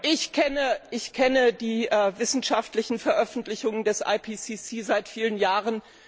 Ich kenne die wissenschaftlichen Veröffentlichungen des IPCC seit vielen Jahren.